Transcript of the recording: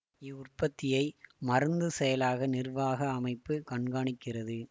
இவ்வுற்பத்தியை மருந்து செயலாக நிர்வாக அமைப்பு கண்காணிக்கிறது